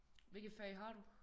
Hvilke fag har du?